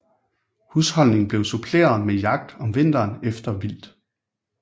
Husholdningen blev suppleret med jagt om vinteren efter vildt